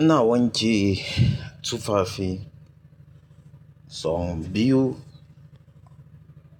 Ina wanke tufafi son biyu,